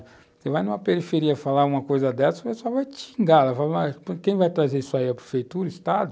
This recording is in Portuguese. Você vai numa periferia falar uma coisa dessas, o pessoal vai te xingar, vai falar, quem vai trazer isso aí, a prefeitura, o Estado?